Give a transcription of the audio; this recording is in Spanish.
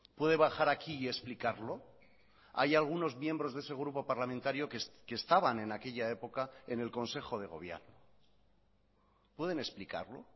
puede bajar aquí y explicarlo hay algunos miembros de ese grupo parlamentario que estaban en aquella época en el consejo de gobierno pueden explicarlo